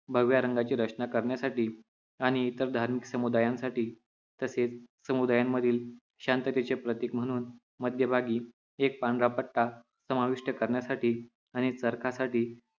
भगव्या रंगाचे रचना करण्यासाठी आणि इतर धार्मिक समुदायांसाठी तसेच समुदायांमधील शांततेचे प्रतीक म्हणून मध्यभागी एक पांढरापट्टा समाविष्ट करण्यासाठी आणि चरख्यासाठी